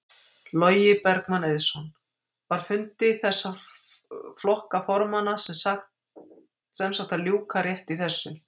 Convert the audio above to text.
Logi Bergmann Eiðsson: Var fundi flokka formanna sem sagt að ljúka rétt í þessu?